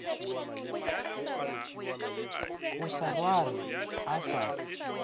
a sa swarwe a sa